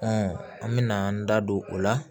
an mɛna an da don o la